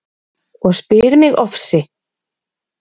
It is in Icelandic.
Og spyr migOfsi